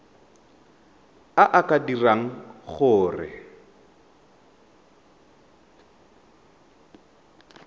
a a ka dirang gore